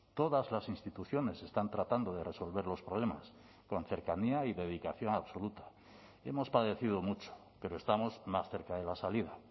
todas las instituciones están tratando de resolver los problemas con cercanía y dedicación absoluta hemos padecido mucho pero estamos más cerca de la salida